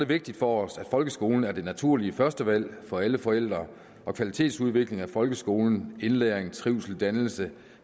vigtigt for os at folkeskolen er det naturlige førstevalg for alle forældre og kvalitetsudvikling af folkeskolen indlæring trivsel dannelse